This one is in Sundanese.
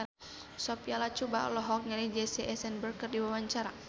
Sophia Latjuba olohok ningali Jesse Eisenberg keur diwawancara